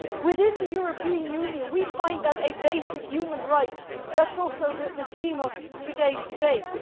Within the European Union, we consider that a basic human right, which is also the theme of today's debate.